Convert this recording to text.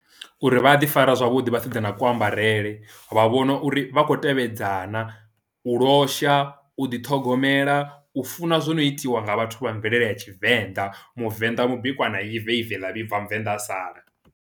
Uri vha a ḓi fara zwavhuḓi vhasidzana ku ambarele vha vhona uri vha khou tevhedza na u losha, u ḓiṱhogomela, u funa zwo no itiwa nga vhathu vha mvelele ya tshivenḓa muvenḓa mubikwa na ive ive ḽa vhibva muvenḓa a sala.